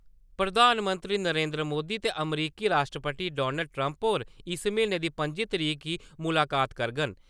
प्रधानमंत्री नरेन्द्र मोदी ते अमरीकी राश्ट्रपति डोनाल्ड ट्रम्प होर इस म्हीनै दी पंजी तरीक गी मुलाकात करङन ।